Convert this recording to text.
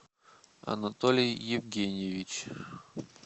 анатолий евгеньевич